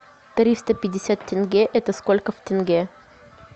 триста пятьдесят тенге это сколько в тенге